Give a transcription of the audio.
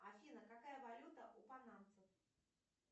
афина какая валюта у панамцев